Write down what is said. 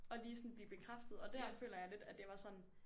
Og lige sådan blive bekræftet og dér føler jeg lidt at jeg var sådan